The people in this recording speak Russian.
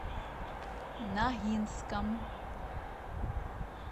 ногинском